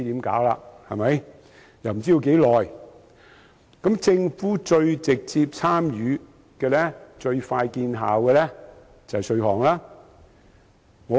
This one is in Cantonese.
政府能最直接參與、最快見效的做法，就是稅務安排。